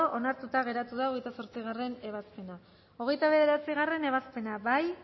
onartuta geratu da hogeita zortzigarrena ebazpena hogeita bederatzigarrena ebazpena bozkatu